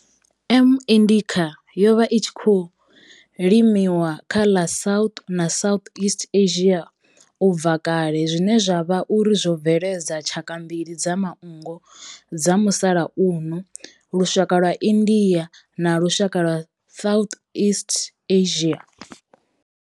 M. indica yo vha i tshi khou limiwa kha ḽa South na Southeast Asia ubva kale zwine zwa vha uri zwo bveledza tshaka mbili dza manngo dza musalauno lushaka lwa India na lushaka lwa Southeast Asia.